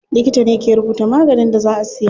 Likita ne ke rubuta maganin da za a siya.